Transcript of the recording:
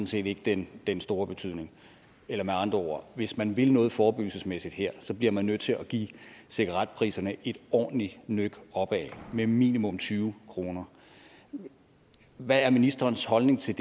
set ikke den den store betydning eller med andre ord hvis man vil noget forebyggelsesmæssigt her bliver man nødt til at give cigaretpriserne et ordentligt nøk opad med minimum tyve kroner hvad er ministerens holdning til